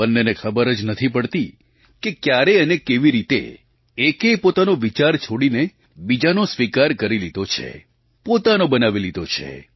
બંનેને ખબર જ નથી પડતી કે ક્યારે અને કેવી રીતે એકે પોતાનો વિચાર છોડીને બીજાનો સ્વીકાર કરી લીધો છે પોતાનો બનાવી લીધો છે